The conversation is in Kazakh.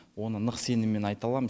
оны нық сеніммен айта аламын